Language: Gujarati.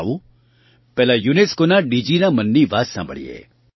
આવો પહેલાં UNESCOનાં DGના મનની વાત સાંભળીએ